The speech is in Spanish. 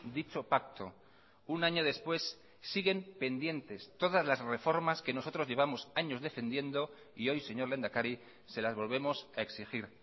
dicho pacto un año después siguen pendientes todas las reformas que nosotros llevamos años defendiendo y hoy señor lehendakari se las volvemos a exigir